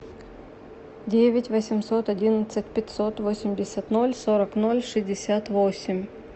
девять восемьсот одиннадцать пятьсот восемьдесят ноль сорок ноль шестьдесят восемь